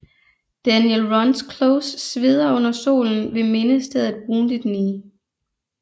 Daniel Runs Close sveder under solen ved mindestedet Wounded Knee